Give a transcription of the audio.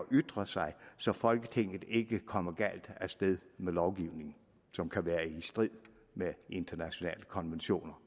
ytre sig så folketinget ikke kommer galt af sted med lovgivning som kan være i strid med internationale konventioner